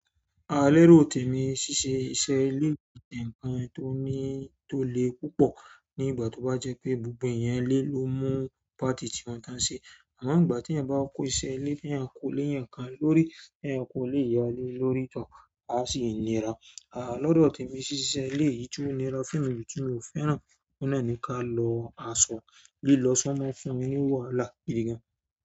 Àá, alẹ́rò tèmí ṣiṣẹ́ iṣẹ́ ìlé nkan tó ní tó le púpọ̀, ní ìgbà tó bá jẹ́ pé gbogbo ẹ̀yàn ilé ló mú pàtí tí wọ́n tan ṣe. Àmọ́ nígbà tí ẹ̀yàn bá kó iṣẹ́ ilé bí ẹyan ko léẹ̀yàn kan lórí, ẹyanko léẹ̀yàn lórí tọkà, á sì nìra. Àá, lọ́dọ̀ tèmí ṣiṣẹ́ ilé yìí tí ó nira fún mi ju tí mo fẹ́ràn, ó náà ni ka lọ aṣọ lílọ sọ́mọ fún mí ni wàhalá igdí gan-an.